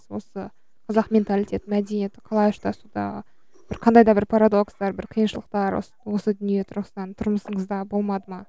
осы қазақ менталитеті мәдениеті қалай ұштасуда бір қандай да бір парадокстар бір қиыншылықтар осы осы дүние тұрғысынан тұрмысыңызда болмады ма